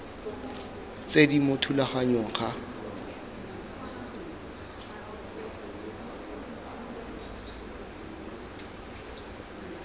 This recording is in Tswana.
tse di mo thulaganyong ga